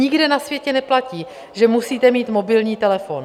Nikde na světě neplatí, že musíte mít mobilní telefon.